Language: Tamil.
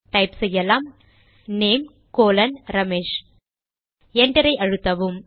டைப் செய்யலாம் NAME ரமேஷ் Enter ஐ அழுத்தவும்